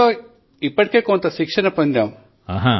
బడి లో ఇప్పటికే మేము కొంత శిక్షణ ను పొందాము